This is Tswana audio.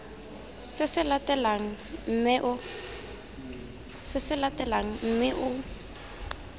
se se latelang mme o